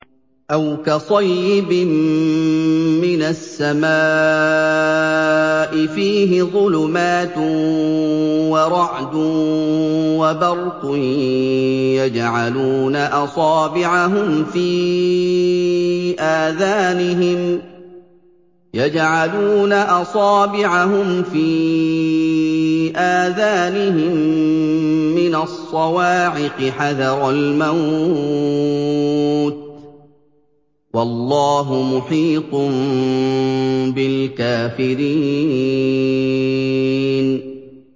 أَوْ كَصَيِّبٍ مِّنَ السَّمَاءِ فِيهِ ظُلُمَاتٌ وَرَعْدٌ وَبَرْقٌ يَجْعَلُونَ أَصَابِعَهُمْ فِي آذَانِهِم مِّنَ الصَّوَاعِقِ حَذَرَ الْمَوْتِ ۚ وَاللَّهُ مُحِيطٌ بِالْكَافِرِينَ